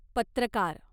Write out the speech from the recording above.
पत्रकार